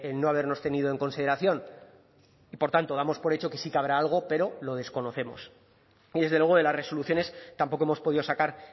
no habernos tenido en consideración y por tanto damos por hecho que sí que habrá algo pero lo desconocemos y desde luego de las resoluciones tampoco hemos podido sacar